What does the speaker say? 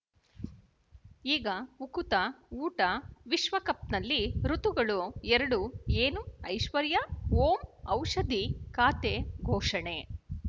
ಈಗ ಉಕುತ ಊಟ ವಿಶ್ವಕಪ್‌ನಲ್ಲಿ ಋತುಗಳು ಎರಡು ಏನು ಐಶ್ವರ್ಯಾ ಓಂ ಔಷಧಿ ಖಾತೆ ಘೋಷಣೆ